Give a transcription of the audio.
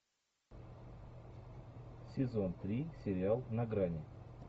сезон три сериал на грани